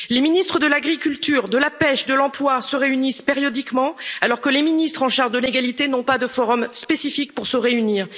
à l'égalité. Les ministres de l'agriculture, de la pêche, de l'emploi se réunissent périodiquement alors que les ministres en charge de l'égalité n'ont pas de forum spécifique pour